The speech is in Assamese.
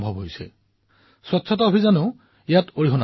আৰু এই সংশোধন কিমান হৈছে কওনে আপোনালোকক আপোনালোকে নিশ্চয়কৈ আনন্দিত হব